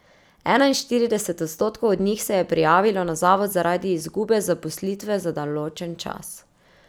Enainštirideset odstotkov od njih se je prijavilo na zavod zaradi izgube zaposlitve za določen čas.